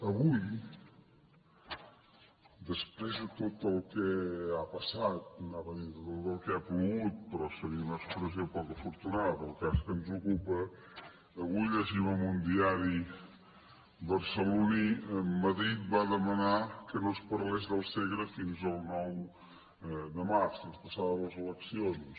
avui després de tot el que ha passat anava a dir de tot el que ha plogut però seria una expressió poc afortunada pel cas que ens ocupa avui llegim en un diari barceloní madrid va demanar que no es parlés del se gre fins al nou de març fins passades les eleccions